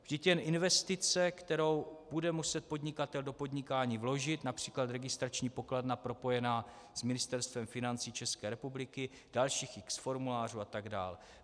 Vždyť jen investice, kterou bude muset podnikatel do podnikání vložit, například registrační pokladna propojená s Ministerstvem financí České republiky, dalších x formulářů atd.